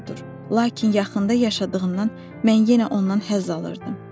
Doğrudur, lakin yaxında yaşadığından mən yenə ondan həzz alırdım.